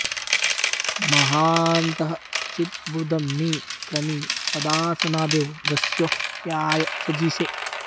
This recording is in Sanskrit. म॒हान्तं॑ चिदर्बु॒दं नि क्र॑मीः प॒दा स॒नादे॒व द॑स्यु॒हत्या॑य जज्ञिषे